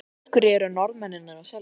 En af hverju eru Norðmennirnir að selja?